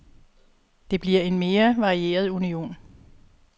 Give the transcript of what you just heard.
Det bliver en mere varieret union.